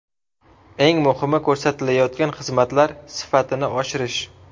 Eng muhimi ko‘rsatilayotgan xizmatlar sifatini oshirish.